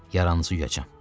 Yaranızı yuyacam.